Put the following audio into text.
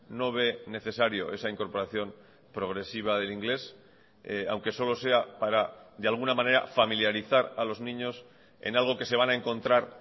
no ve necesario esa incorporación progresiva del inglés aunque solo sea para de alguna manera familiarizar a los niños en algo que se van a encontrar